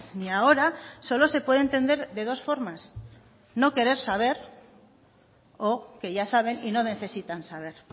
ni ahora solo se puede entender de dos formas no querer saber o que ya saben y no necesitan saber